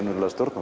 að stjórna